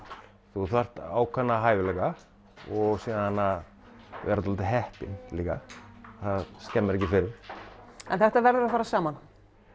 þú þarft ákveðna hæfileika og síðan að vera svolítið heppinn líka það skemmir ekki fyrir en þetta verður að fara saman